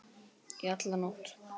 Í alla nótt.